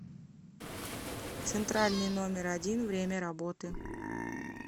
центральный номер один время работы